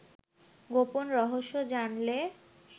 গোপন রহস্য জানলে